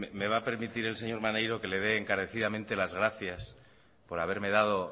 me va a permitir el señor maneiro que le dé encarecidamente las gracias por haberme dado